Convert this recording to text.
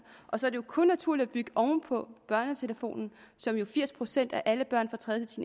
og så er det jo kun naturligt at bygge oven på børnetelefonen som firs procent af alle børn